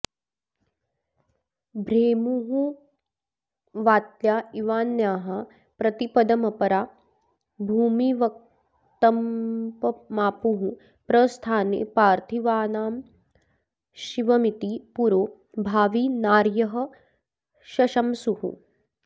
भ्रेमुर्वात्या इवान्याः प्रतिपदमपरा भूमिवत्कम्पमापुः प्रस्थाने पार्थिवानामशिवमिति पुरो भावि नार्यः शशंसुः